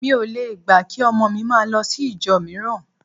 Mi ò le gbà kí ọmọ mi máa lọ sí ìjọ mìíràn